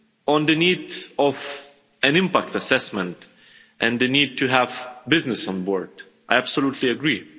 On the need for an impact assessment and the need to have businesses on board, I absolutely agree.